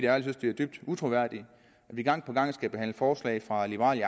ærligt at det er dybt utroværdigt at vi gang på gang skal behandle forslag fra liberal